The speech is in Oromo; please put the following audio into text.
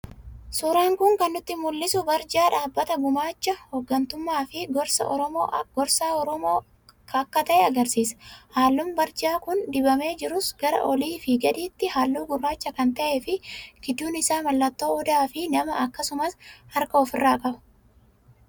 Suuraan Kun kan nutti mul'isu, barjaa Dhaabbata Gumaacha, Hooggantummaa fi Gorsaa Oromoo akka ta'e argisiisa. Halluun barjaan kun dibamee jirus gara oliifi gadiitti halluu gurraacha kan ta'ee fi gidduun isaa mallattoo Odaa fi namaa akkasumas harka ofirraa qaba.